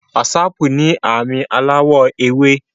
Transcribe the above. Wásáápu ni aami alawọ ewe